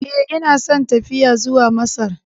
Ee, ina son tafiya zuwa Masar.